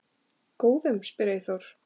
Góðum? spyr Eyþór.